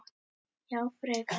Já frekar.